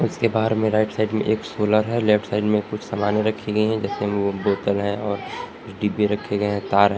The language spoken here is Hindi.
उसके बाहर में राइट साइड में एक सोलर है लेफ्ट साइड में कुछ सामानें रखी गई हैं जैसे वो बोतल है और डिब्बे रखे गए हैं तार है।